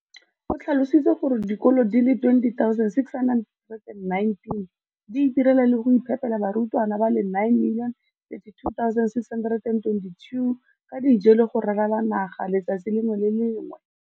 O tlhalositse gore dikolo di le 20 619 di itirela le go iphepela barutwana ba le 9 032 622 ka dijo go ralala naga letsatsi le lengwe le le lengwe.